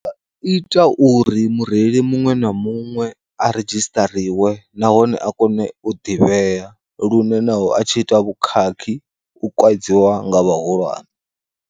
Ita uri mureili muṅwe na muṅwe a redzhisiṱariwe nahone a kone u ḓivhea, lune naho a tshi ita vhukhakhi u kaidziwa nga vhahulwane.